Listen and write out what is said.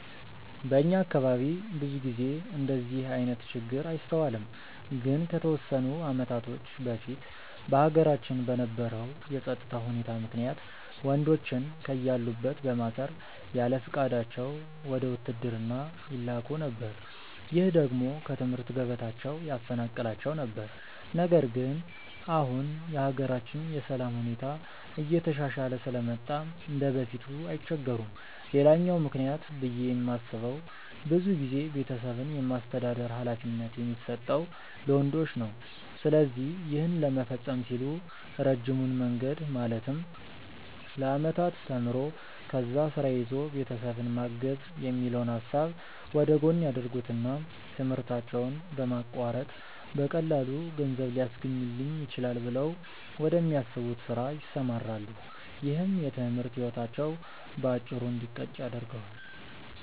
በእኛ አካባቢ ብዙ ጊዜ እንደዚህ አይነት ችግር አይስተዋልም። ግን ከተወሰኑ አመታቶች በፊት በሀገራችን በነበረው የፀጥታ ሁኔታ ምክንያት ወንዶችን ከያሉበት በማሰር ያለፍቃዳቸው ወደ ውትድርና ይላኩ ነበር። ይህ ደግሞ ከትምህርት ገበታቸው ያፈናቅላቸው ነበር። ነገር ግን አሁን የሀገራችን የሰላም ሁኔታ እየተሻሻለ ስለመጣ እንደበፊቱ አይቸገሩም። ሌላኛው ምክንያት ብዬ የማስበው ብዙ ጊዜ ቤተሰብን የማስተዳደር ሀላፊነት የሚሰጠው ለወንዶች ነው። ስለዚህ ይህን ለመፈፀም ሲሉ ረጅሙን መንገድ ማለትም ለአመታት ተምሮ፣ ከዛ ስራ ይዞ ቤተሰብን ማገዝ የሚለውን ሀሳብ ወደጎን ያደርጉትና ትምህርታቸውን በማቋረጥ በቀላሉ ገንዘብ ሊያስገኝልኝ ይችላል ብለው ወደሚያስቡት ስራ ይሰማራሉ። ይህም የትምህርት ህይወታቸው በአጭሩ እንዲቀጭ ያደርገዋል።